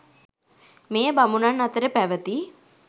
මෙය බමුණන් අතර පැවැති